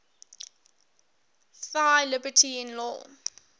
thy liberty in law